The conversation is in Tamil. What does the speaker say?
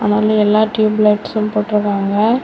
அதனால எல்லா டியூப் லைட்ஸ் போட்டு இருக்காங்க.